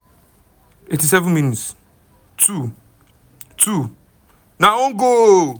87 mins - 2 - 2 - na own goal!